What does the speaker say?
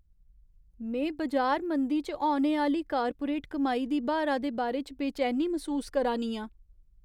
में बजार मंदी च औने आह्‌ली कार्पोरेट कमाई दी ब्हारा दे बारे च बेचैनी मसूस करा नी आं।